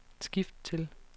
skift til